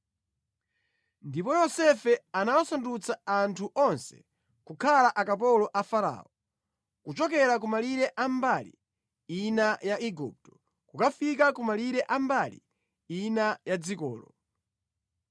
ndipo Yosefe anawasandutsa anthu onse kukhala akapolo a Farao, kuchokera ku malire a mbali ina ya Igupto kukafika ku malire a mbali ina ya dzikolo.